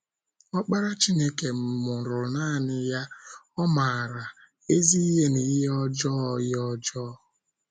Ọkpara Chineke mụrụ nanị ya, ọ̀ maara “ ezi ihe na ihe ọjọọ ihe ọjọọ. ”